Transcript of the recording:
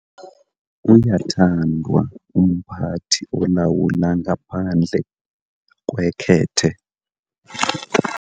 Uyathandwa umphathi olawula ngaphandle kwekhethe.